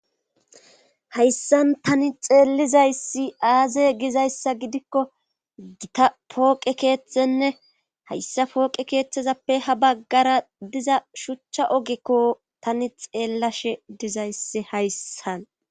hayssan tani xeellizayssi aaze gizayssa gidikko gita pooqe keeththenne hayssa pooqe keeththezappe ha baggara diza shuchcha ogekko tani xeellashe dizayssi hayssan